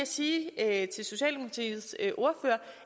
se at